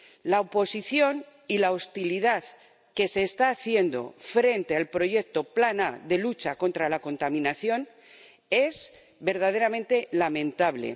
La oposición y la hostilidad que se está demostrando frente al proyecto Plan A, de lucha contra la contaminación, es verdaderamente lamentable.